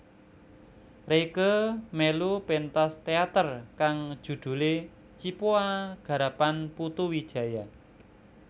Rieke melu pentas teater kang judhule Cipoa garapan Putu Wijaya